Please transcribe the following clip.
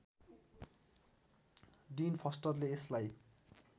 डिन फस्टरले यसलाई